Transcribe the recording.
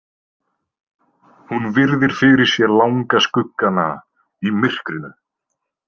Hún virðir fyrir sér langa skuggana í myrkrinu.